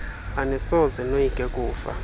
anisoze noyike kufa